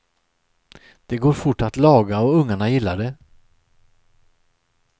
Det går fort att laga och ungarna gillar det.